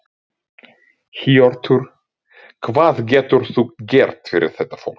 Hjörtur: Hvað getur þú gert fyrir þetta fólk?